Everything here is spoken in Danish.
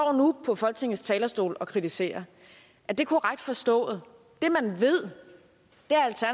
på folketingets talerstol og kritiserer er det korrekt forstået det man ved